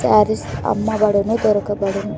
సారీస్ అమ్మబడును దొరకబడును.